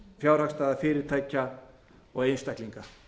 fjárhagsstaða fyrirtækja og einstaklinga